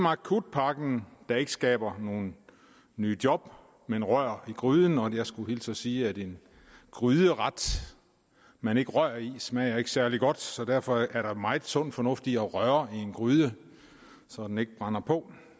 akutpakken der ikke skaber nogen nye job men rører i gryden og jeg skulle hilse og sige at en gryderet man ikke rører i smager særlig godt så derfor er der megen sund fornuft i at røre i en gryde så den ikke brænder på